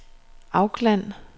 Auckland